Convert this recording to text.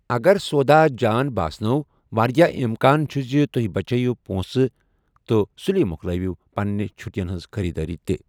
اگر سودا جان باسنو٘ ، وارِیاہ امكان چُھ زِ تُہۍ بچٲوِو پونٛسہٕ تہٕ سُلی مو٘كلٲوِو پننہِ چھُٹِین ہنز خریدٲری تہِ ۔